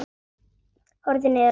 Horfði niður á tærnar.